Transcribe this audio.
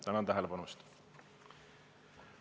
Tänan tähelepanu eest!